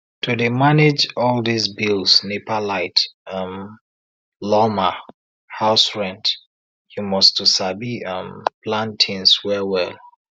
to dey manage all dis bills nepa light um lawma house rent you must to sabi um plan tins well well